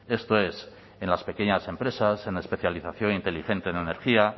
esto es en las pequeñas empresas en la especialización inteligente en energía